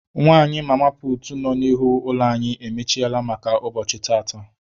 Nwanyị mama puutu nọ n'ihu ụlọ anyị emechiele maka ụbọchị tata.